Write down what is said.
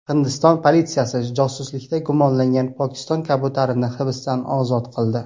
Hindiston politsiyasi josuslikda gumonlangan Pokiston kabutarini hibsdan ozod qildi.